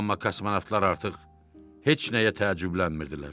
Amma kosmonavtlar artıq heç nəyə təəccüblənmirdilər.